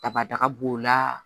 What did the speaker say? Dabada b'o la